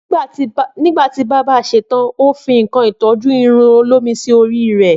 Nígbàtí bábà ṣe tan, o fi ńǹkan ìtọ́jú irun olómi sí orí rè